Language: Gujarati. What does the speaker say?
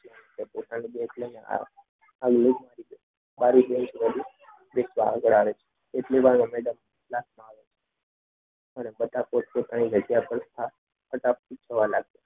ને પોતાનું બેગ લઈને આવી રીક્ષા આગળ આવે છે એટલી વાર આવે છે તથા બધા પોતપોતાની જગ્યા પર